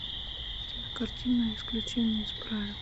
кинокартина исключение из правил